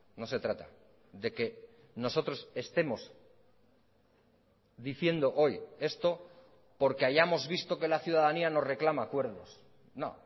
no se trata de que nosotros estemos diciendo hoy esto porque hayamos visto que la ciudadanía nos reclama acuerdos no